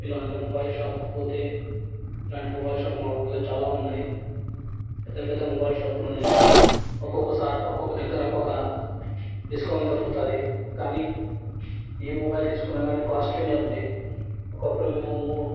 ఇల్లాంటి mobile shop కి పోతే ఇల్లాంటి మొబైల్ షాప్స్ మా ఉర్ల చాల ఉన్నాయ్. పెద్ద-పెద్ద మొబైల్ షాప్ లు ఉన్నాయ్. ఒకోకోసక్ ఒకొక దగ్గర ఒక డిస్కౌంట్ దొరుకుతధీ. కానీ ఇ మొబైల్ --]